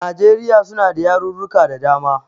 Najeriya suna da yarurruka da dama.